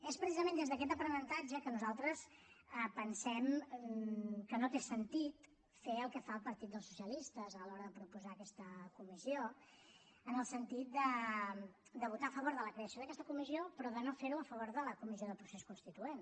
és precisament des d’aquest aprenentatge que nosaltres pensem que no té sentit fer el que fa el partit dels socialistes a l’hora de proposar aquesta comissió en el sentit de votar a favor de la creació d’aquesta comissió però de no fer ho a favor de la comissió del procés constituent